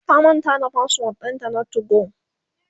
ta manta da password ɗinta na 2go